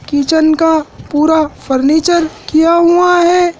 Kitchen का पूरा furniture किया हुआ है।